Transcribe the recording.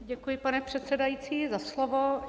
Děkuji, pane předsedající, za slovo.